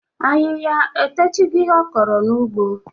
Ahịhịa etochigo ihe ọ kọrọ n'ugbo?